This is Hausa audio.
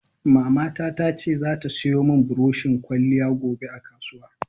Mamata ta ce za ta siyo mun buroshin ƙwaliya gobe a kasuwa.